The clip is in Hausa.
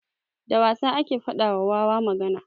Da wasa ake faɗa wa wawa magana.